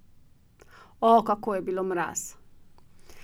Oh, kako je bilo mraz!